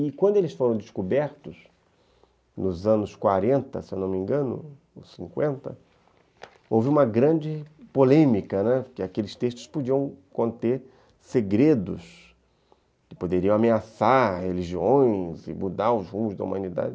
E quando eles foram descobertos, nos anos quarenta, se eu não me engano, ou cinquenta, houve uma grande polêmica, né, porque aqueles textos podiam conter segredos que poderiam ameaçar religiões e mudar os rumos da humanidade.